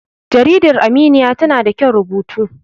jarida aminiya tana da kyan rubutu